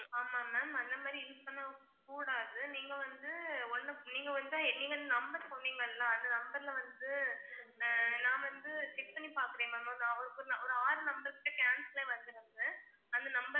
ஆமா ma'am அந்த மாதிரி use பண்ண கூடாது நீங்க வந்து ஒன்னு நீங்க வந்தா இனிமேல் number சொன்னிங்கல்லா அந்த number ல வந்து நா வந்து check பண்ணி பாக்குறேன் ma'am அவங்களுக்கு ஒரு ஆறு number கிட்ட cancel ஆகி வருது நமக்கு அந்த number